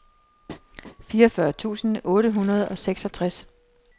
fireogfyrre tusind otte hundrede og seksogtres